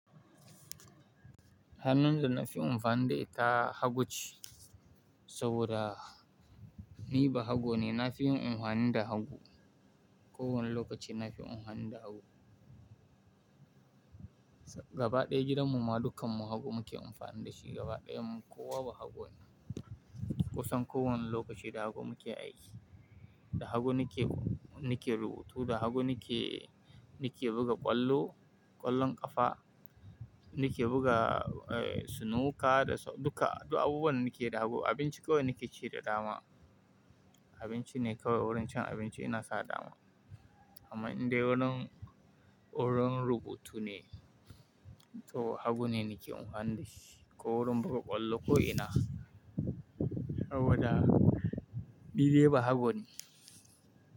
Hannun da na fi anfani da ita hagu ce saboda ni ba hago ne, na fi yin in anhani da hagu. Ko wane lokaci na fi anhani da hagu. Gaba ɗaya gidan mu ma dukkan mu hagu muke anfani dashi gaba ɗayan mu. Ko wa ba hago ne. Kusan ko wani lokaci da hagu muke aiki, da hagu nike, nike rubutu, da hagu nike, nike buga ƙwallo, ƙwallon ƙafa, nike buga, eh, snooker da duka, duk abubuwan nake da hagu. Abinci kawai nike ci dama. Abinci ne kawai wurin cin abinci ina sa dama. Amma in dai wurin, wurin rubutu ne to hagu ne nike anhani da shi. Ko wurin buga ƙwallo ko ina saboda ni dai ba hago ne.